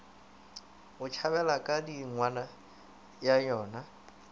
tšhabela ga radingwana ba nyoga